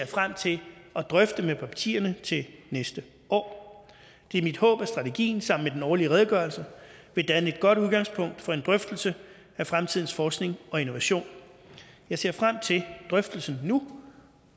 frem til at drøfte med partierne til næste år det er mit håb at strategien sammen med den årlig redegørelse vil danne et godt udgangspunkt for en drøftelse af fremtidens forskning og innovation jeg ser frem til drøftelsen nu